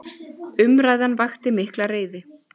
Umræðan vakti mikla reiði.